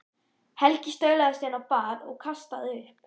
Helgi staulaðist inn á bað og kastaði upp.